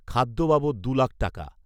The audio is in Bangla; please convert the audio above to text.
খাদ্য বাবদ দু লাখ টাকা